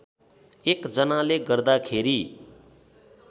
एक जनाले गर्दाखेरि